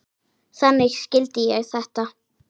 Þannig skildi ég þetta.